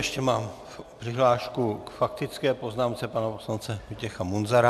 Ještě mám přihlášku k faktické poznámce pana poslance Vojtěcha Munzara.